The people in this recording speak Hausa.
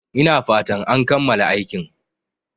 Ina fatan an kammala aikin